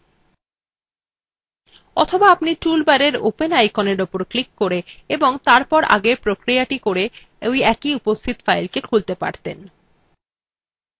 অথবা আপনি উপরের toolbar open আইকনের উপর ক্লিক করে এবং তারপর আগের প্রক্রিয়াthe করে একটি উপস্থিত file খুলতে পারতেন